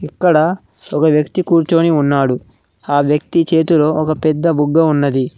ఇక్కడ ఒక వ్యక్తి కూర్చొని ఉన్నాడు ఆ వ్యక్తి చేతిలో ఒక పెద్ద బుగ్గ ఉన్నది.